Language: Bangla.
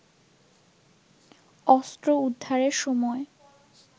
অস্ত্র উদ্ধারের সময়